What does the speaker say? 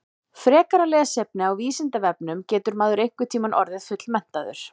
Frekara lesefni á Vísindavefnum Getur maður einhvern tímann orðið fullmenntaður?